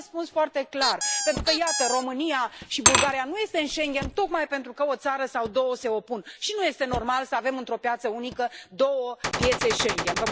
Vrea un răspuns foarte clar, pentru că, iată, România și Bulgaria nu sunt în Schengen tocmai pentru că o țară sau două se opun și nu este normal să avem într o piață unică două piețe Schengen.